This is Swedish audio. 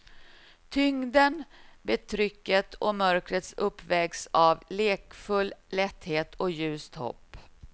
Tyngden, betrycket och mörkret uppvägs av lekfull lätthet och ljust hopp.